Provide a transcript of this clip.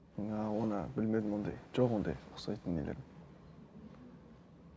ыыы оны білмедім ондай жоқ ондай ұқсайтын нелерім